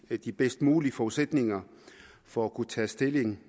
de bedst mulige forudsætninger for at kunne tage stilling